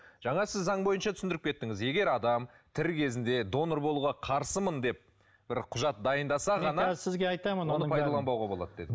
жаңа сіз заң бойынша түсіндіріп кеттіңіз егер адам тірі кезінде донор болуға қарсымын деп бір құжат дайындаса ғана сізге айтамын оны пайдаланбауға болады дедіңіз